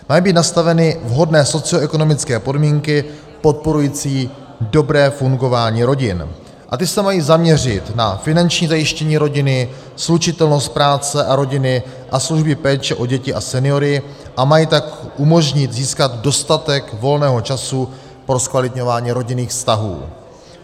Mají být nastaveny vhodné socioekonomické podmínky podporující dobré fungování rodin a ty se mají zaměřit na finanční zajištění rodiny, slučitelnost práce a rodiny a služby péče o děti a seniory, a mají tak umožnit získat dostatek volného času pro zkvalitňování rodinných vztahů.